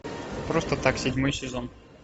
просто так седьмой сезон